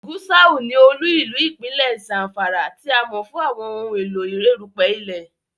Gusau ní olú-ìlú ipinlẹ Zamfara, tí a mọ fún àwọn ohùn èló erupẹ ilẹ